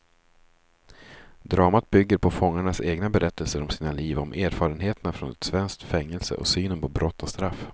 Dramat bygger på fångarnas egna berättelser om sina liv, om erfarenheterna från ett svenskt fängelse och synen på brott och straff.